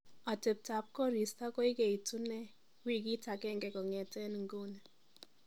atebtab koristo koigeitunee wigik agenge kong'eten inguni